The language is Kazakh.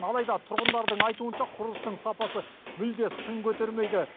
алайда тұрғындардың айтуынша құрылыстың сапасы мүлде сын көтермейді